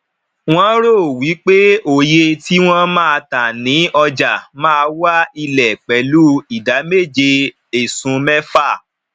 wọn ro wípé òye tí wọn má tá ni ọjà má wá ilé pelu idà méje esun mefa